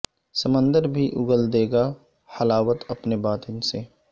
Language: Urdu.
سمندر بھی اگل دے گا حلاوت اپنے باطن سے